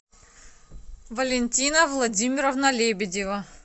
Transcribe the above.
валентина владимировна лебедева